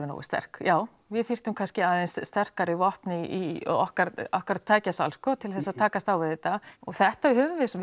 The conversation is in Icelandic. nógu sterk já við þyrftum kannski aðeins sterkari vopn í okkar okkar tækjasal sko til að takast á við þetta og þetta höfum